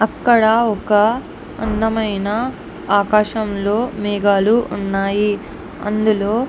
ఇక్కడ ఒక అందమైన ఆకాశంలో మేఘలు ఉన్నాయి. అందులో --